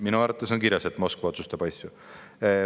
" Minu arvates on siin kirjas, et Moskva otsustab asju.